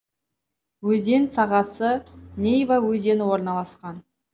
өзен сағасы нейва өзені орналасқан